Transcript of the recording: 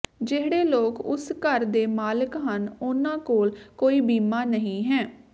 ਜਿਹੜੇ ਲੋਕ ਉਸ ਘਰ ਦੇ ਮਾਲਕ ਹਨ ਉਨ੍ਹਾਂ ਕੋਲ ਕੋਈ ਬੀਮਾ ਨਹੀਂ ਹੈ